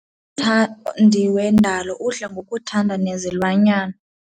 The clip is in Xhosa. Umthandi wendalo udla ngokuthanda nezilwanyana.